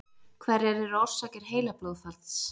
hverjar eru orsakir heilablóðfalls